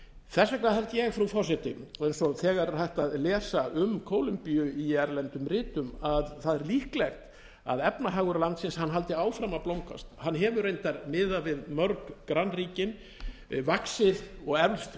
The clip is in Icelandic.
þess vegna held ég frú forseti eins og þegar er hægt að lesa um kólumbíu í erlendum ritum að það sé líklegt að efnahagur landsins haldi áfram að blómgast hann hefur reyndar miðað við mörg grannríkin vaxið og eflst